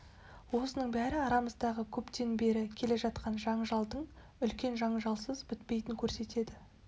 осының бәрі арамыздағы көптен бері келе жатқан жанжалдың үлкен жанжалсыз бітпейтінін көрсетеді